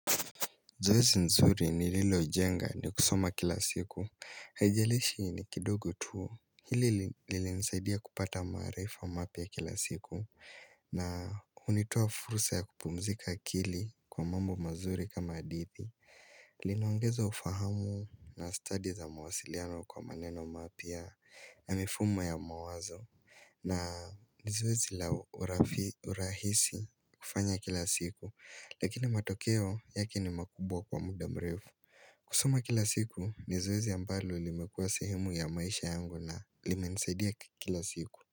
Zoezi nzuri ni lilo jenga ni kusoma kila siku. Haijalishi ni kidogo tu. Hili lili nisaidia kupata maarifa mapya kila siku. Na unitoa fursa ya kupumzika akili kwa mambo mazuri kama hadithi. Linaongeza ufahamu na stadi za mawasiliano kwa maneno mapya na mifumo ya mawazo. Na ni zoezi la urahisi kufanya kila siku Lakina matokeo yake ni makubwa kwa muda mrefu kusoma kila siku ni zoezi ambalo limekuwa sehemu ya maisha yangu na limenisaidia kila siku.